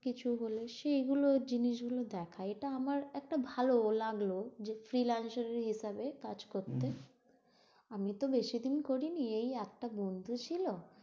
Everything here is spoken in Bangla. কিছু বলে, সেইগুলো জিনিস গুলো দেখা। এটা আমার একটা ভালো লাগলো, যে ফ্রীলান্সারের হিসাবে কাজ করতে। আমি তো বেশি দিন করিনি, এই একটা বন্ধু ছিল।